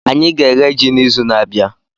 Anyị ga-eghe ji n'izu na-abịa.